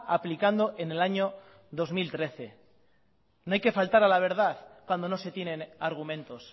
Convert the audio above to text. aplicando en el año dos mil trece no hay que faltar a la verdad cuando no se tienen argumentos